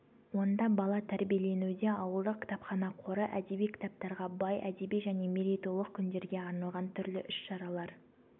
онда бала тәрбиеленуде ауылдық кітапхана қоры әдеби кітаптарға бай әдеби және мерейтойлық күндерге арналған түрлі іс-шарадар